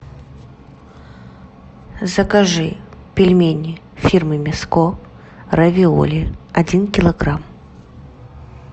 закажи пельмени фирмы мяско равиоли один килограмм